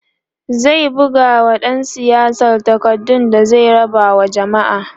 zai bugawa ɗan siyasar takardu da zai raba wa jamma'a